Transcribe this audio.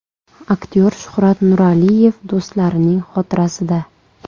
Aktyor Shuhrat Nuraliyev do‘stlarining xotirasida.